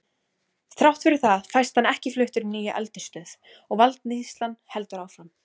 Þrátt fyrir það fæst hann ekki fluttur í nýja eldisstöð og valdníðslan heldur áfram.